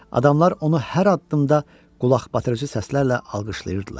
Adamlar onu hər addımda qulaqbatırıcı səslərlə alqışlayırdılar.